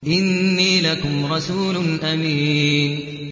إِنِّي لَكُمْ رَسُولٌ أَمِينٌ